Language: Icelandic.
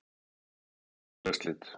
Svipað má segja um félagsslit.